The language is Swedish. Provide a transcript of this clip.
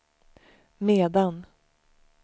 medan